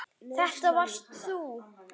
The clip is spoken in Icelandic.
Þetta varst þú.